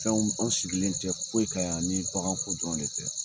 Fɛnw an sigilen tɛ foyi kan yan ni baganko dɔrɔn de tɛ.